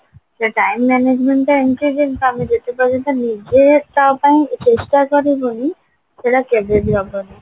ସେ time management ଟା ଏମତି ଯେ ତମେ ଯେତେ ପର୍ଯ୍ୟନ୍ତ ନିଜେ ତା ପାଇଁ ଚେଷ୍ଟା କରିବନି ସେଟା କେବେ ବି ହବନି